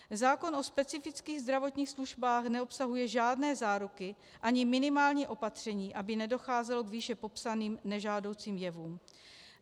Zákon o specifických zdravotních službách neobsahuje žádné záruky ani minimální opatření, aby nedocházelo k výše popsaným nežádoucím jevům.